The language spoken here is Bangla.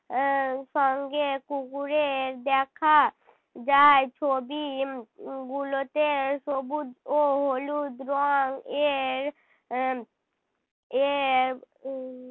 এর সঙ্গে কুকুরের দেখা যায় ছবি উহ গুলোতে সবুজ ও হলুদ রং এর আহ এর উহ